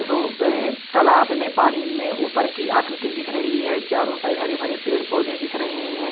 रो तालाब में पानी में ऊपर की आकृति दिख रही है चारों साइड हरे भरे पेड़-पौधे दिख रहे है।